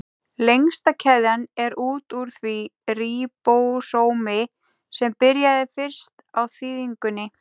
Lengsta keðjan er út úr því ríbósómi sem byrjaði fyrst á þýðingunni.